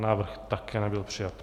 Návrh také nebyl přijat.